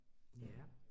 Ja